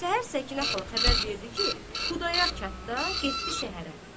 Səhər Səkinə xala xəbər verdi ki, Xudayar kənddə, getdi şəhərə.